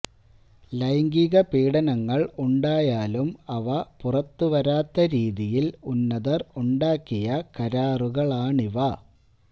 ലൈംഗിക പീഡനങ്ങള് ഉണ്ടായാലും അവ പുറത്തുവരാത്ത രീതിയില് ഉന്നതര് ഉണ്ടാക്കിയ കരാറുകളാണിവ